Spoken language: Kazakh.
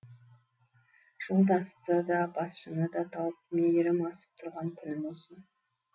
жолдасты да басшыны да тауып мерейім асып тұрған күнім осы